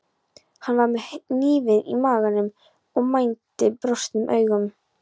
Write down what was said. Hann var með hnífinn í maganum og mændi brostnum augum.